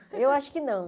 Eu acho que não.